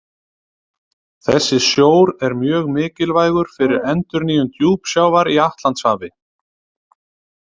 Þessi sjór er mjög mikilvægur fyrir endurnýjun djúpsjávar í Atlantshafi.